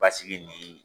Basigi ni